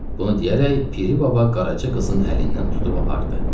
Bunu deyərək Piri Baba Qaraça qızın əlindən tutub apardı.